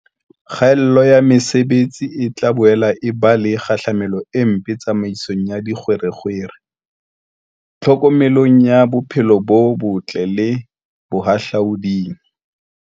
Kgaello ya metsi e tla boela e ba le kgahlamelo e mpe tsamaisong ya dikgwerekgwere, tlhokomelong ya bophelo bo botle le bohahlaoding.